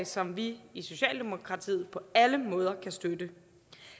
som vi i socialdemokratiet på alle måder kan støtte